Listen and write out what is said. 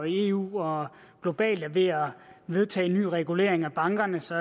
i eu og globalt er ved at vedtage en ny regulering af bankerne så